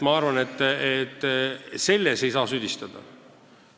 Ma arvan, et alust süüdistada ei ole.